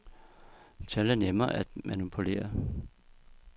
Tal er nemme at manipulere.